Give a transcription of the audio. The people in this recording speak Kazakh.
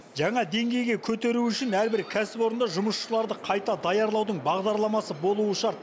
жаңа деңгейге көтеру үшін әрбір кәсіпорында жұмысшыларды қайта даярлаудың бағдарламасы болуы шарт